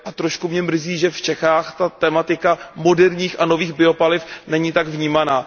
Trochu mě mrzí, že v Čechách ta tematika moderních a nových biopaliv není tak vnímána.